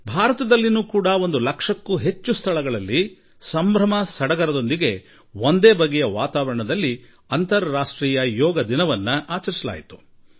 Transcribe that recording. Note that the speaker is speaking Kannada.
ಭಾರತದಲ್ಲೂ ಒಂದು ಲಕ್ಷಕ್ಕೂ ಹೆಚ್ಚು ಸ್ಥಳಗಳಲ್ಲಿ ಬಹಳ ಉತ್ಸಾಹ ಆಸಕ್ತಿಯೊಂದಿಗೆ ವೈವಿಧ್ಯಮಯ ವರ್ಣರಂಜಿತ ವಾತಾವರಣದಲ್ಲಿ ಅಂತಾರಾಷ್ಟ್ರೀಯ ಯೋಗ ದಿನ ಆಚರಿಸಿತು